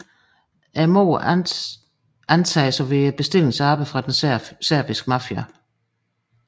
Mordet antages at være bestillingsarbejde fra den serbiske mafia